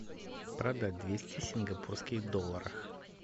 продать двести сингапурских долларов